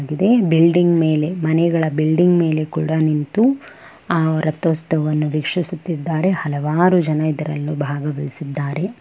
Building ಮೇಲೆ ಮನೆಗಳ building ಮೇಲೆ ಕೂಡ ನಿಂತು ಆ ರಥೋತ್ಸವವನ್ನು ವೀಕ್ಷಿಸುತ್ತಿದ್ದಾರೆ. ಹಲವಾರು ಜನ ಇದರಲ್ಲು ಭಾಗವಹಿಸಿದ್ದಾರೆ.